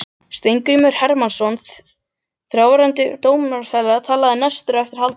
Steingrímur Hermannsson, þáverandi dómsmálaráðherra, talaði næstur á eftir Halldóri.